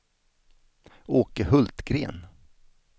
Åke Hultgren